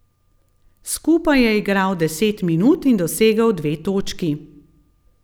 Skupaj je igral deset minut in dosegel dve točki.